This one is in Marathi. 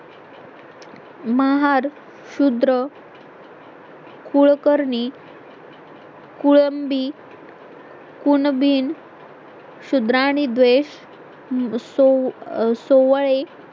महार शुद्र कुळकर्णी कुळंबी कुणबी शुद्रा आणि द्वेष सो सोवळे